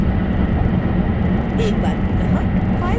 एक बार पुनः फ़ाइल को सेव करें